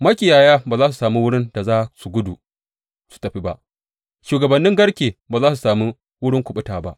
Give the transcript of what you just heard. Makiyaya ba za su sami wurin da za su gudu su tafi ba, shugabannin garke ba za su sami wurin kuɓuta ba.